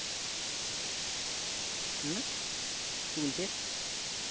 উম কি বলছিস